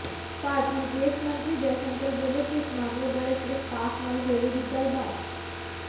ਭਾਰਤੀ ਵਿਦੇਸ਼ ਮੰਤਰੀ ਜੈਸ਼ੰਕਰ ਬੋਲੇ ਇਸ ਮਾਮਲੇ ਬਾਰੇ ਸਿਰਫ ਪਾਕਿ ਨਾਲ ਹੋਵੇਗੀ ਗੱਲਬਾਤ